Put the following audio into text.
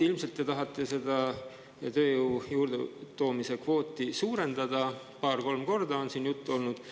Ilmselt te tahate seda tööjõu juurde toomise kvooti suurendada paar-kolm korda, nagu siin on juttu olnud.